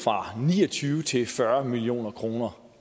fra ni og tyve til fyrre million kroner